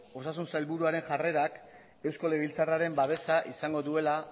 osasun sailburuaren jarrerak eusko legebiltzarraren babesa izango duela